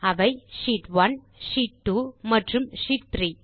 அவை sheet one sheet 2 மற்றும் sheet 3